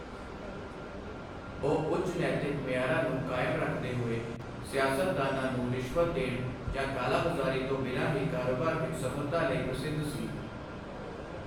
ਉਹ ਉੱਚ ਨੈਤਿਕ ਮਿਆਰਾਂ ਨੂੰ ਕਾਇਮ ਰੱਖਦੇ ਹੋਏ, ਸਿਆਸਤਦਾਨਾਂ ਨੂੰ ਰਿਸ਼ਵਤ ਦੇਣ ਜਾਂ ਕਾਲਾ ਬਜ਼ਾਰੀ ਤੋਂ ਬਿਨਾਂ ਹੀ ਕਾਰੋਬਾਰ ਵਿੱਚ ਸਫਲਤਾ ਲਈ ਪ੍ਰਸਿੱਧ ਸੀ।